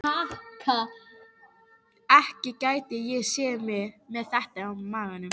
Ekki gæti ég séð mig með þetta á maganum.